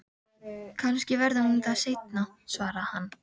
Kannski verður hún það seinna, svaraði hann.